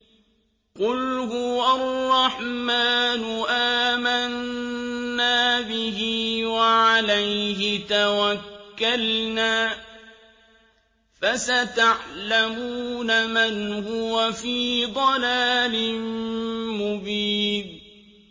قُلْ هُوَ الرَّحْمَٰنُ آمَنَّا بِهِ وَعَلَيْهِ تَوَكَّلْنَا ۖ فَسَتَعْلَمُونَ مَنْ هُوَ فِي ضَلَالٍ مُّبِينٍ